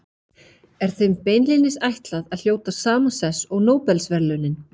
Þannig kynntumst við Kata.